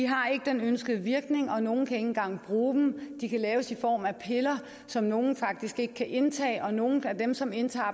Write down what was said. har ikke den ønskede virkning og nogle kan ikke engang bruge dem de kan laves i form af piller som nogle faktisk ikke kan indtage og nogle af dem som indtager